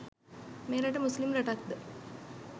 මේ රට මුස්ලිම් රටක්ද?